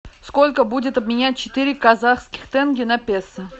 сколько будет обменять четыре казахских тенге на песо